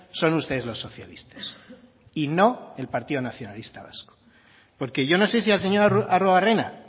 son ustedes los socialistas y no el partido nacionalista vasco porque yo no sé si al señor arruabarrena